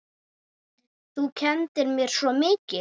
Þú kenndir mér svo mikið.